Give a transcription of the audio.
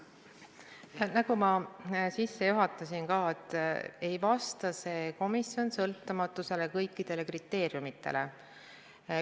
Nagu ma sissejuhatuses ütlesin, see komisjon ei vasta kõikidele sõltumatuse kriteeriumidele.